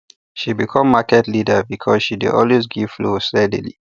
she become market leader because she dey always give fowl steadily